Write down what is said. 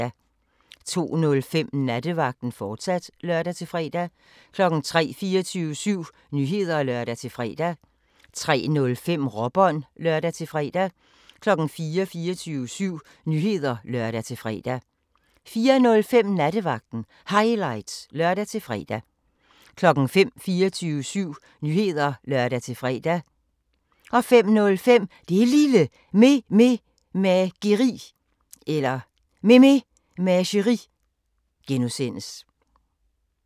02:05: Nattevagten, fortsat (lør-fre) 03:00: 24syv Nyheder (lør-fre) 03:05: Råbånd (lør-fre) 04:00: 24syv Nyheder (lør-fre) 04:05: Nattevagten Highlights (lør-fre) 05:00: 24syv Nyheder (lør-fre) 05:05: Det Lille Mememageri (G)